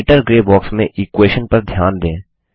writer grey box में equation पर ध्यान दें